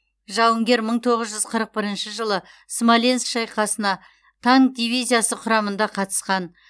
жауынгер мың тоғыз жүз қырық бірінші жылы смоленск шайқасына танк дивизиясы құрамында қатысқан